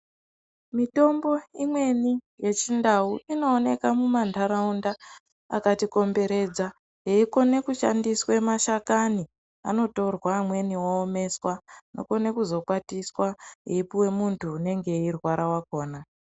Mitombo imweni yechindau inooneka mumantaraunda akatikomberedza yeikona kushandiswa mashakani. Inotorwe mashakani yoomesa, yokone kuzokwatiswa yeipuwe muntu unenge eirwara wakhona.